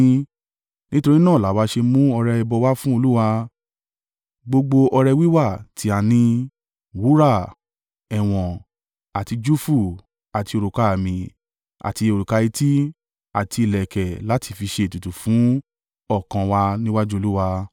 Nítorí náà làwa ṣe mú ọrẹ ẹbọ wá fún Olúwa, gbogbo ọrẹ wíwà tí a ní, wúrà, ẹ̀wọ̀n, àti júfù, àti òrùka-àmi, àti òrùka etí, àti ìlẹ̀kẹ̀ láti fi ṣe ètùtù fún ọkàn an wa níwájú Olúwa.”